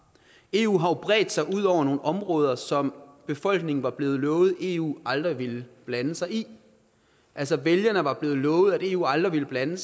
eu har jo bredt sig ud over nogle områder som befolkningen var blevet lovet eu aldrig ville blande sig i altså vælgerne er blevet lovet at eu aldrig ville blande